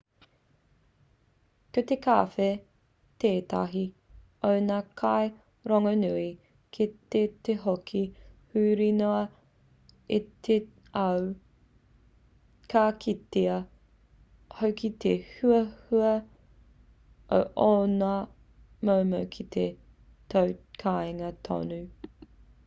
ko te kawhe tētahi o ngā kai rongonui ki te hoko huri noa i te ao ka kitea hoki te huhua o ōna momo ki tō kāinga tonu